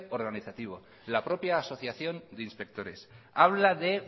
organizativo la propia asociación de inspectores habla de